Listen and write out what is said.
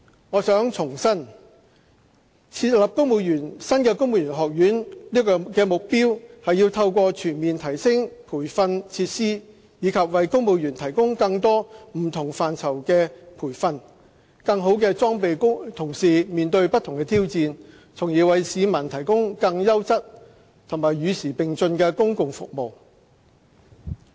我想重申，設立新的公務員學院的目標，是要透過全面提升培訓設施，以及為公務員提供更多不同範疇的培訓，更好地裝備同事面對不同的挑戰，從而為市民提供更優質和與時並進的公共服務。